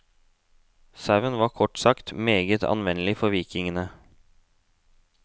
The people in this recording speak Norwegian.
Sauen var kort sagt meget anvendelig for vikingene.